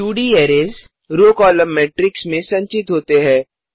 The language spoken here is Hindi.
2 D arrays row column matrix में संचित होते है